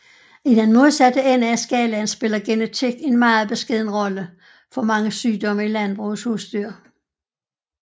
I den modsatte ende af skalaen spiller genetik en meget beskeden rolle for mange sygdomme i landbrugets husdyr